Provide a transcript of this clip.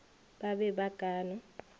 ba be ba ka no